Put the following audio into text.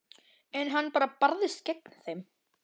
En hann barðist gegn þeim.